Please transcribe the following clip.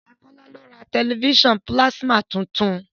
Bọ̀dá Kọ́lá ló ra tẹ̀lifísàn pílásímà tuntun